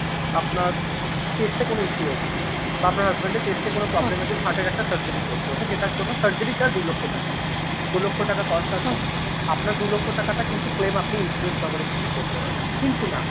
আপনার chest এ কোনো issue হয়েছে বা আপনার husband এর chest এ কোনো problem র জন্য heart র একটা surgery করতে হচ্ছে যেটার জন্য surgery টা দু লক্ষ টাকা। দু লক্ষ টাকার cost আছে আপনার দু লক্ষ টাকাটা কিন্তু claim আপনি insurance coverage থেকে করতে পারবেন। কিন্তু mam